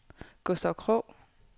Gustav Krog